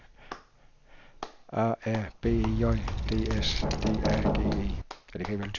A R B E J D S D A G E